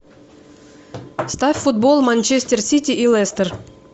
ставь футбол манчестер сити и лестер